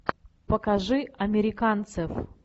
покажи американцев